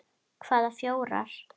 Hvaða fjórar?